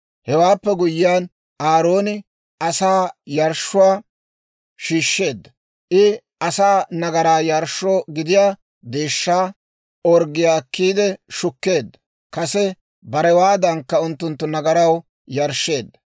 Hewaappe guyyiyaan, Aarooni asaa yarshshuwaa shiishsheedda; I asaa nagaraa yarshshoo gidiyaa deeshshaa orggiyaa akkiide shukkeedda; kase barewaadankka unttunttu nagaraw yarshsheedda.